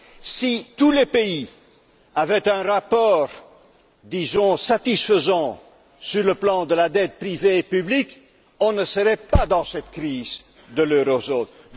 Si tous les pays avaient un rapport, disons, satisfaisant sur le plan de la dette privée et publique, on ne serait pas dans cette crise de la zone euro.